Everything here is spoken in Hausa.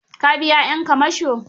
Ka biya 'yan kamasho?